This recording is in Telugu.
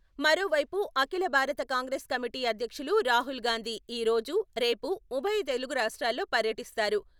మరోవైపు..అఖిల భారత కాంగ్రెస్ కమిటీ అధ్యక్షులు రాహుల్ గాంధీ ఈ రోజు, రేపు ఉభయ తెలుగు రాష్ట్రాల్లో పర్యటిస్తారు.